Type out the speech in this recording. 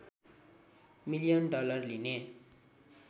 million dollar लिने